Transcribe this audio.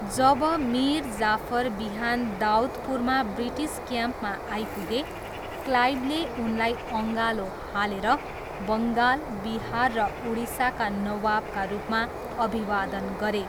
जब मिर जाफर बिहान दाउदपुरमा ब्रिटिस क्याम्पमा आइपुगे, क्लाइभले उनलाई अँगालो हालेर बङ्गाल, बिहार र उडिसाका नवाबका रूपमा अभिवादन गरे।